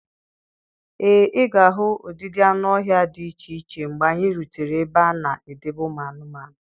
Ee, ị ga-ahụ ụdịdị anụ ọhịa dị iche iche mgbe anyị rutere ebe a na-edebe ụmụ anụmanụ.